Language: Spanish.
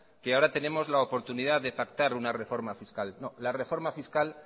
que ahora tenemos la oportunidad de pactar una reforma fiscal no la reforma fiscal